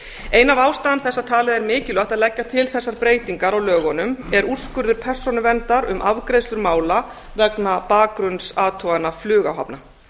ein af ástæðum þess að talið er mikilvægt að leggja til þessar breytingar á lögunum er úrskurður persónuverndar um afgreiðslu mála vegna bakgrunnsathugana flugáhafna